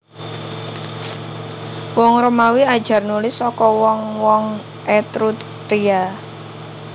Wong Romawi ajar nulis saka wong wong Etruria